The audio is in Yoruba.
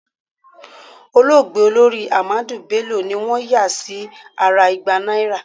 Olóògbé Olórí Ahmadu Bello ni wọ́n yà sí ara igba náírà.